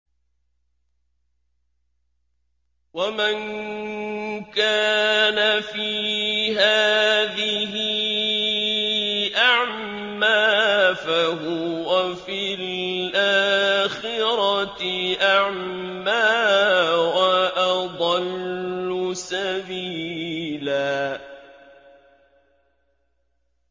وَمَن كَانَ فِي هَٰذِهِ أَعْمَىٰ فَهُوَ فِي الْآخِرَةِ أَعْمَىٰ وَأَضَلُّ سَبِيلًا